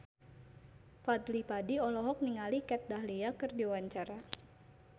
Fadly Padi olohok ningali Kat Dahlia keur diwawancara